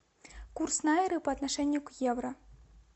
курс найры по отношению к евро